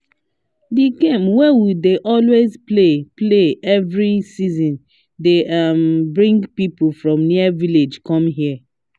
the game wey we dey always play play every season dey um bring people from near villages come here